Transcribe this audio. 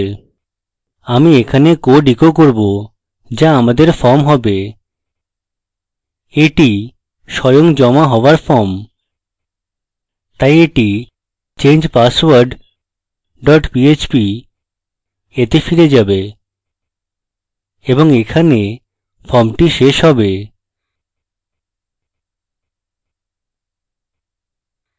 আমি এখানে code echo করব যা আমাদের form হবে এটি স্বয়ং জমা হওয়ার form তাই এটি change password dot php তে ফিরে যাবে এবং এখানে ফর্মটি শেষ হবে